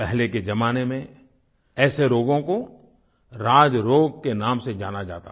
पहले के ज़माने में ऐसे रोगों को राजरोग के नाम से जाना जाता था